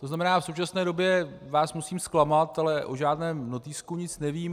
To znamená, v současné době vás musím zklamat, ale o žádném notýsku nic nevím.